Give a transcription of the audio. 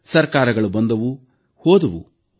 ಸರ್ಕಾರಗಳು ಬಂದವು ಹೋದವು